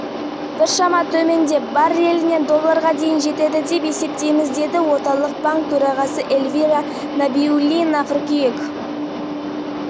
дегенмен өндірісті шектеу туралы келісім ұзартылуы әбден мүмкін әрине қатысушылардың көптеген мәлімдемесінде осы айтылып отыр деп